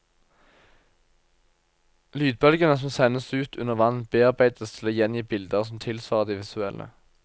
Lydbølgene som sendes ut under vann bearbeides til å gjengi bilder som tilsvarer det visuelle.